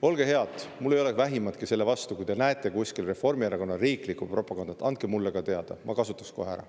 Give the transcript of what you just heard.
Olge head – mul ei ole vähimatki selle vastu –, kui te näete kuskil Reformierakonna riiklikku propagandat, siis andke mulle ka teada, ma kasutaks seda kohe ära.